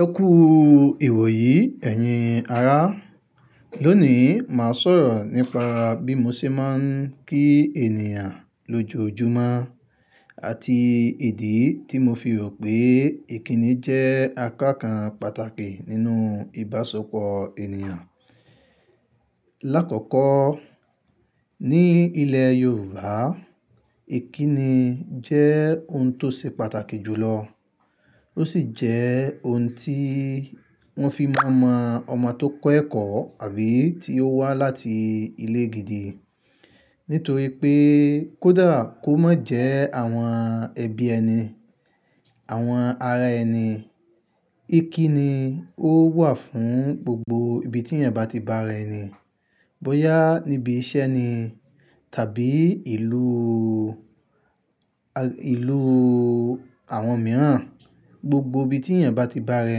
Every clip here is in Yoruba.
Ẹ kú ìwòyí, ẹ̀yin ará. Lónìí, máa sọ̀rọ̀ nípa bí mo ṣe máa ń kí ènìyàn lójoojúmọ́ àti ìdí tí mo fi rò pé ìkíni jẹ́ àkọ́kàn pàtàkì nínú ìbáṣepọ̀ ènìyàn. Láàkọ́kọ́, ní ilẹ̀ Yorùbá, ìkíni jẹ́ ohun tó ṣe pàtàkì jùlọ. Ó sì jẹ́ ohun tí wọ́n fi máa mọ ọmọ tó kẹ́kọ̀ọ́ àbí tí ó wá láti ilé gidi. Nítorí pé kó dà kó má jẹ́ àwọn ẹbí ẹni, àwọn ará ẹni, ìkíni ó wà fún gbogbo ibi tí ẹ̀niyan bá ti bárá ẹni. Bo ya níbi iṣẹ́ ni tàbí ìlú, ìlú àwọn mìíràn, gbogbo ibi tí ẹ̀niyán bá ti bárá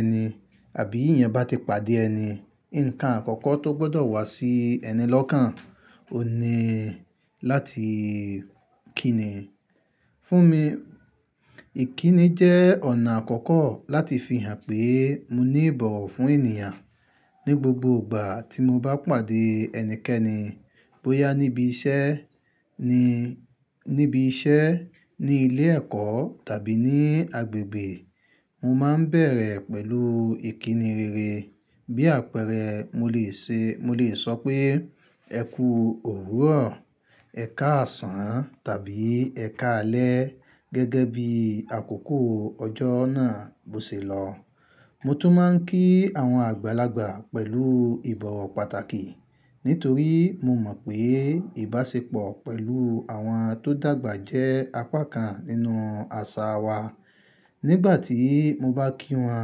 ẹni àbí ẹ̀niyán bá ti pàdé ẹni, ǹkan àkọ́kọ́ tó gbọdọ̀ wá sí ẹní lọ́kàn ó ni láti kíni. Fún mi, ìkíni jẹ́ ọ̀nà àkọ́kọ́ láti fi hàn pé mo ní ìbọ̀wọ̀ fún ènìyàn. Ni gbogbo ìgbà tí mo bá pàdé ẹnikẹ́ni, bóyá níbi iṣẹ́ ni, níbi iṣẹ́, ní ilé ẹ̀kọ́ tàbí ní agbègbè, mo máa ń bẹ̀rẹ̀ pẹ̀lú ìkíni rere. Bí àpẹẹrẹ, mo lè ṣe, mo lè sọ pé "ẹ kú òwùró," "ẹ káàsán" tàbí "ẹ káalẹ́" gẹ́gẹ́ bí àkókò ọjọ́ náà bó ṣe lọ. Mo tún máa ń kí àwọn àgbàlagbà pẹ̀lú ìbọ̀wọ̀ pàtàkì, nítorí mo mọ̀ pé ìbáṣepọ̀ pẹ̀lú àwọn tó dàgbà jẹ́ apá kan nínú àṣà wa. Nígbà tí mo bá kí wọn,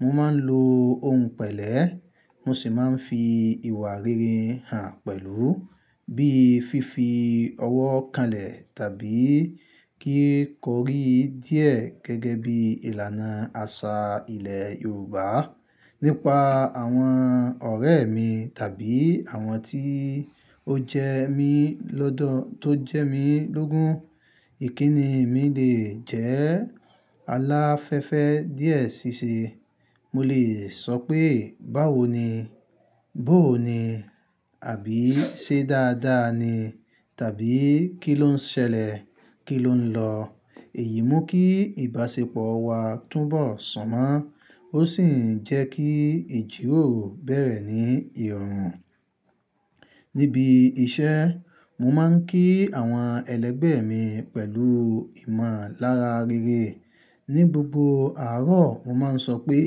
mo máa ń lo ohun pẹ̀lẹ́, mo sì máa ń fi ìwà rere hàn pẹ̀lú, bíi fífi ọwọ́ kalẹ̀ tàbí kí kò rí díẹ̀ gẹ́gẹ́ bí ìlànà àṣà ilẹ̀ Yorùbá. Nípa àwọn ọ̀rẹ́ mi tàbí àwọn tí ó jẹ mí lọ́dọ̀, tó jẹ mí lógún, ìkíni mi lè jẹ́ aláfẹ́fẹ́ díẹ̀ sí i ṣe. Mo lè sọ pé "báwo ni?", "bó ni?" àbí "ṣé dáadáa ni?" tàbí "kí ló ń ṣẹlẹ̀?", "kí ló ń lọ?" Èyí mú kí ìbáṣepọ̀ wa túbọ̀ sún mọ́, ó sì ń jẹ́ kí ìjíròrò bẹ̀rẹ̀ ní ìrọ̀rùn. Níbi iṣẹ́, mo máa ń kí àwọn ẹlẹgbẹ́ mi pẹ̀lú ìmọ̀lára rere. Ni gbogbo àárọ̀, mo máa ń sọ pé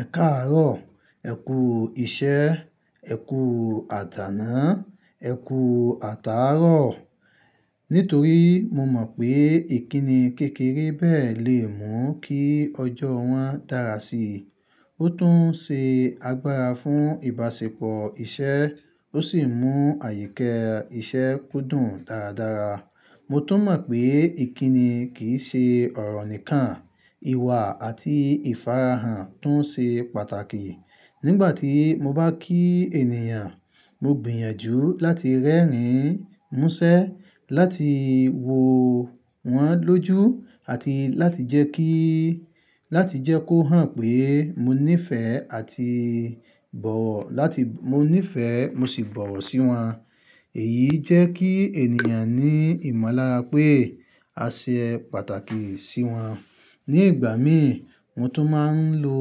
"ẹ káàárọ̀", "ẹ kú iṣẹ́", "ẹ kú àdáná", "ẹ kú àtàárọ̀." Nítorí mo mọ̀ pé ìkíni kékeré bẹ́ẹ̀ lè mú kí ọjọ́ wọn dára sí i. Ó tún ṣe agbára fún ìbáṣepọ̀ iṣẹ́, ó sì mú àyíkẹ́ iṣẹ́ kó dùn dáradára. Mo tún mọ̀ pé ìkíni kì í ṣe ọ̀rọ̀ nìkan, ìwà àti ìfara hàn tún ṣe pàtàkì. Nígbà tí mo bá kí ènìyàn, mo gbìyànjú láti rẹ́rìn-ín, múṣẹ́, láti wò wọ́n lójú àti láti jẹ́ kí, láti jẹ́ kó hàn pé mo ní ìfẹ́ àti ìbọ̀wọ̀ láti, mo ní ìfẹ́ mo sì bọ̀wọ̀ sí wọn. Èyí jẹ́ kí ènìyàn ní ìmọ̀lára pé a ṣe pàtàkì sí wọn. Ni ìgbà mí, mo tún máa ń lo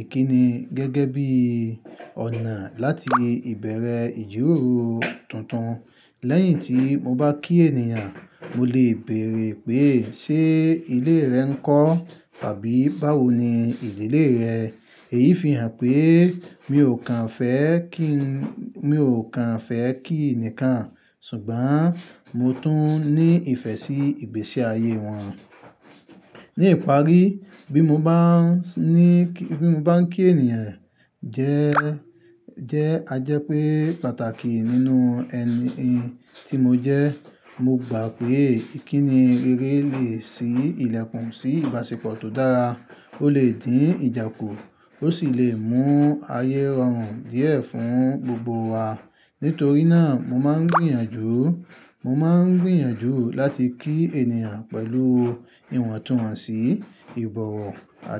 ìkíni gẹ́gẹ́ bí ọ̀nà láti ìbẹ̀rẹ̀ ìjíròrò tuntun. Lẹ́yìn tí mo bá kí ènìyàn, mo lè bèèrè pé "ṣé ilé rẹ ńkọ́?" tàbí "báwo ni ìdílé rẹ?" Èyí fi hàn pé mi ò kan fẹ́ kí, mi ò kan fẹ́ kí ẹnìkan, ṣùgbọ́n mo tún ní ìfẹ́ sí ìgbésí ayé wọn. Ni ìparí, bí mo bá ń sín, bí mo bá ń kí ènìyàn jẹ́, jẹ́ ajẹ́ pé pàtàkì nínú ẹni tí mo jẹ́. Mo gbà pé ìkíni rere lè ṣí ilẹ̀kùn sí ìbáṣepọ̀ tó dára. Ó lè dín ìjà kù, ó sì lè mú ayé rọrùn díẹ̀ fún gbogbo wa. Nítorí náà, mo máa ń gbìyànjú, mo máa ń gbìyànjú láti kí ènìyàn pẹ̀lú ìwọ̀ntúnwọ̀nsì, ìbọ̀wọ̀ àti.